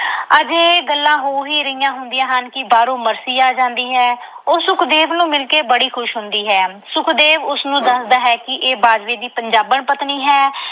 ਅਜੇ ਇਹ ਗੱਲਾਂ ਹੋ ਹੀ ਰਹੀਆਂ ਹੁੰਦੀਆਂ ਹਨ ਕਿ ਬਾਹਰੋਂ ਮਰਸੀ ਆ ਜਾਂਦੀ ਹੈ। ਉਹ ਸੁਖਦੇਵ ਨੂੰ ਮਿਲ ਕੇ ਬੜੀ ਖੁਸ਼ ਹੁੰਦੀ ਹੈ। ਸੁਖਦੇਵ ਉਸ ਨੂੰ ਦੱਸਦਾ ਹੈ ਕਿ ਇਹ ਬਾਜਵੇ ਦੀ ਪੰਜਾਬਣ ਪਤਨੀ ਹੈ।